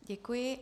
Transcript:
Děkuji.